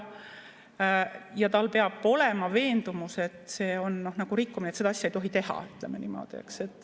Ja tal peab olema veendumus, et see on rikkumine, et seda asja ei tohi teha, ütleme niimoodi.